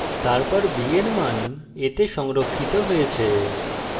তারপর b এর then a then সংরক্ষিত হয়েছে